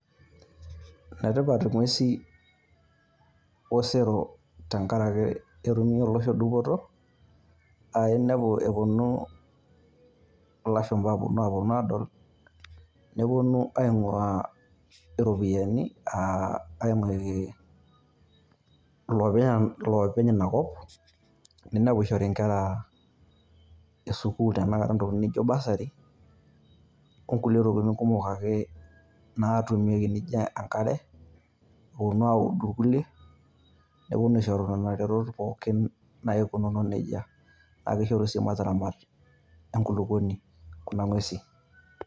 Enetipat ing`uesin osero tenkaraki ketumie olosho dupoto aa inepu eponu ilashumpaa aaponu aponu aadol. Ninepu ning`uaa irropiyiani aa aing`uki ilopeny ina kop. Ninepu ishori nkera e sukuul tenakata ntokitin naijo bursary o nkulie tokitin kumok ake naatumieki naijo enkare eponu audu ilkulie. Neponu aishoru nena retot pookin naikununo nejia. Naa kishoru sii mataramat enkulukuoni kuna ng`uesin.